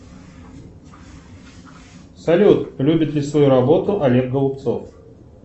салют любит ли свою работу олег голубцов